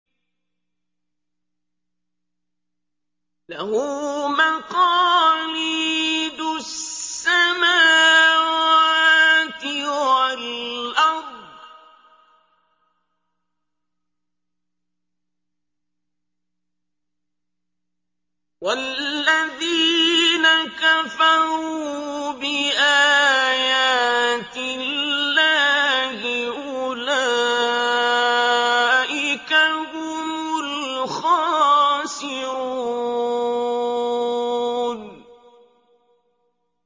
لَّهُ مَقَالِيدُ السَّمَاوَاتِ وَالْأَرْضِ ۗ وَالَّذِينَ كَفَرُوا بِآيَاتِ اللَّهِ أُولَٰئِكَ هُمُ الْخَاسِرُونَ